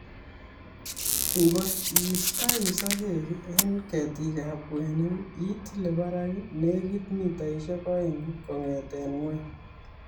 Ngot iistoi sokek eng ketikab kwenik itilee barak netik mitaishek oeng kong'etee ng'ony